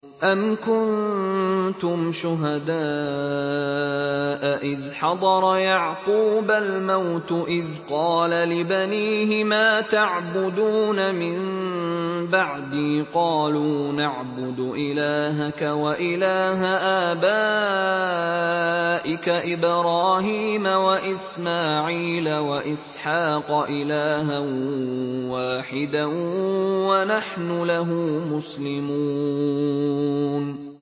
أَمْ كُنتُمْ شُهَدَاءَ إِذْ حَضَرَ يَعْقُوبَ الْمَوْتُ إِذْ قَالَ لِبَنِيهِ مَا تَعْبُدُونَ مِن بَعْدِي قَالُوا نَعْبُدُ إِلَٰهَكَ وَإِلَٰهَ آبَائِكَ إِبْرَاهِيمَ وَإِسْمَاعِيلَ وَإِسْحَاقَ إِلَٰهًا وَاحِدًا وَنَحْنُ لَهُ مُسْلِمُونَ